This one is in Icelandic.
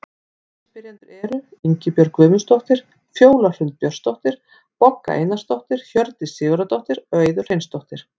Aðrir spyrjendur eru: Ingibjörg Guðmundsdóttir, Fjóla Hrund Björnsdóttir, Bogga Einarsdóttir, Hjördís Sigurðardóttir og Auður Hreinsdóttir.